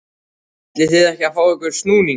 ætlið þið ekki að fá ykkur snúning?